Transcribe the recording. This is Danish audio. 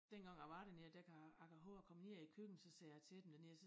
Dengang jeg var dernede der kan jeg kan hove jeg kom ned i æ køkken så sagde jeg til dem dernede så